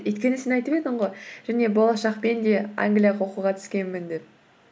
өйткені сен айтып едің ғой және болашақ пен де англияға оқуға түскенмін деп